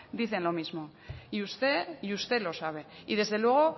dicen lo mismo y usted y usted lo sabe y desde luego